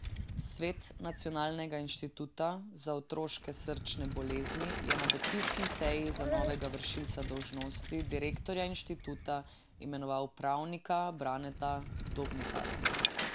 Svet Nacionalnega inštituta za otroške srčne bolezni je na dopisni seji za novega vršilca dolžnosti direktorja inštituta imenoval pravnika Braneta Dobnikarja.